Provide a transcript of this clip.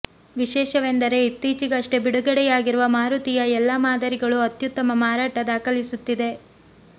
ವಿಶೇಷವೆಂದರೆ ಇತ್ತೀಚೆಗಷ್ಟೇ ಬಿಡುಗಡೆಯಾಗಿರುವ ಮಾರುತಿಯ ಎಲ್ಲ ಮಾದರಿಗಳು ಅತ್ಯುತ್ತಮ ಮಾರಾಟ ದಾಖಲಿಸುತ್ತಿದೆ